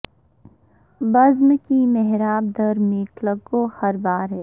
بزم کی محراب در میں کلک گوہر بار ہے